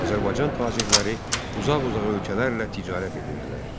Azərbaycan tacirləri uzaq-uzaq ölkələrlə ticarət edirdilər.